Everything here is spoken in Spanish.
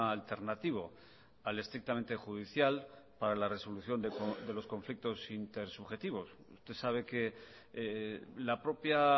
alternativo al estrictamente judicial para la resolución de los conflictos intersubjetivos usted sabe que la propia